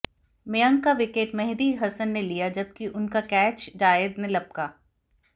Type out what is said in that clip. मयंक का विकेट मेहदी हसन ने लिया जबकि उनका कैच जायेद ने लपका